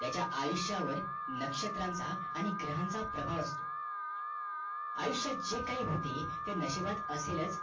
त्याचा आयुष्यावर नक्षत्रांचा आणि ग्रहांचा प्रभाव असतो आयुष्यात जे काही होते ते नशिबात असेलच